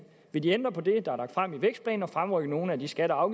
vil de ændre på det der er lagt frem i vækstplanen og fremrykke nogle af de skatte og